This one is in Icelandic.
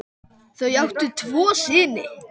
Þau áttu tvo syni.